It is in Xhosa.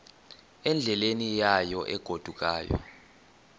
endleleni yayo egodukayo